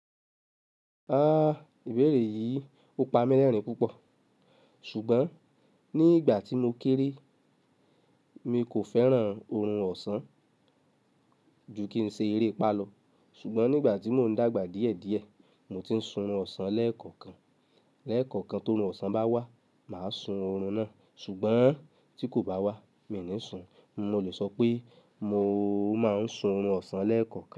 Ah! Ìbéèrè yìí ò pa mí lẹ́rìn-ín púpọ̀. Ṣùgbọ́n ní ìgbà tí mo kéré, mi kò fẹ́ràn oorun ọ̀sán ju kí n ṣe eré pálọ̀. Ṣùgbọ́n nígbà tí mò ń dàgbà díẹ̀díẹ̀, mo ti ń sun oorun ọ̀sán lẹ́ẹ̀kọ̀kan. Lẹ́ẹ̀kọ̀kan tó oorun ọ̀sán bá wà, mà á sun oorun náà, ṣùgbọ́n tí kò bá wà, mi ò ní sun. Mo lè sọ pé mo máa ń sun oorun ọ̀sán lẹ́ẹ̀kọ́kan.